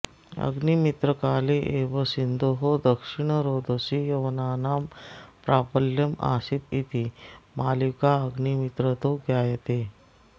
अग्निमित्रकाले एव सिन्धोः दक्षिणरोधसि यवनानां प्राबल्यमासीदिति मालविकाग्निमित्रतो ज्ञायते